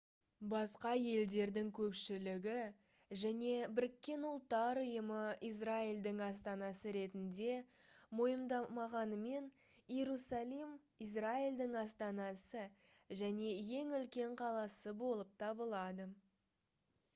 басқа елдердің көпшілігі және біріккен ұлттар ұйымы израильдің астанасы ретінде мойындамағанымен иерусалим израильдің астанасы және ең үлкен қаласы болып табылады